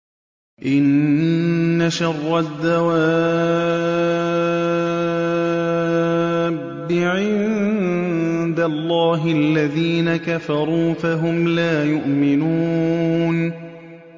إِنَّ شَرَّ الدَّوَابِّ عِندَ اللَّهِ الَّذِينَ كَفَرُوا فَهُمْ لَا يُؤْمِنُونَ